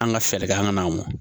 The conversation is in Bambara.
An ka fɛɛrɛ kɛ an ka na mɔ